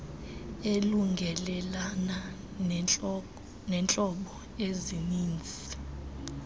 elungelelana neentlobo ezinininzi